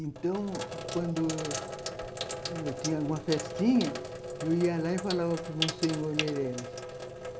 Então, quando eu tinha alguma festinha, eu ia lá e falava para o Monsenhor Meirelles.